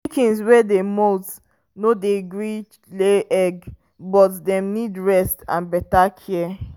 chickens wey dey molt no dey gree lay eggs but dem need rest and better care.